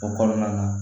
O kɔnɔna na